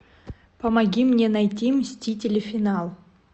помоги мне найти мстители финал